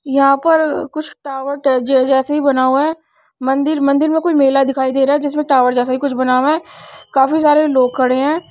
यहां पर कुछ टॉवर जैसे ही बना हुआ है मंदिर-मंदिर मे कोई मेला दिखाई दे रहा है जिसमें टॉवर जैसा ही कुछ बना हुआ है काफी सारे लोग खडे है।